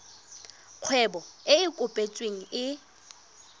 kgwebo e e kopetsweng e